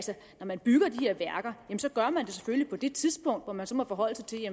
når man bygger de her værker gør man det selvfølgelig på det tidspunkt hvor man så må forholde sig til